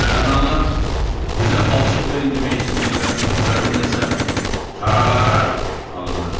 Bənnəlar, bizə palçıq verin demək istəyirlər, əvəzindəsə tarabarara halınırdı.